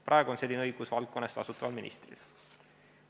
Praegu on selline õigus valdkonna eest vastutaval ministril.